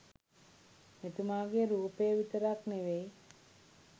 මෙතුමාගේ රූපය විතරක් නෙවෙයි